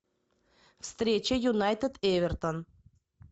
встреча юнайтед эвертон